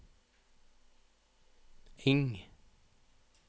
Engh